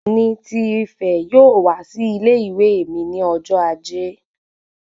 Oòni ti Ìfẹ yóò wá sí ilé-ìwé mí ní ọjọ ajé